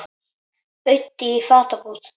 Auddi í fatabúð